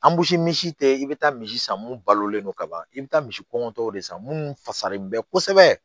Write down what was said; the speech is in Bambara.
Anbusi misi te i be taa misi san mun balolen don ka ban i be taa misi kɔngɔtɔ de san munnu fasalen bɛ kosɛbɛ